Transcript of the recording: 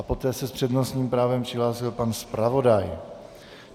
A poté se s přednostním právem přihlásil pan zpravodaj.